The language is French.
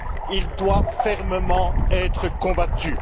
Il doit fermement être combattu.